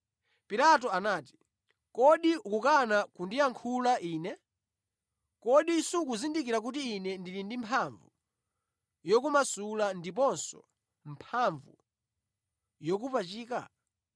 Pilato anati, “Kodi ukukana kundiyankhula ine? Kodi sukuzindikira kuti ine ndili ndi mphamvu yokumasula ndiponso mphamvu yokupachika?”